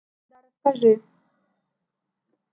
да расскажи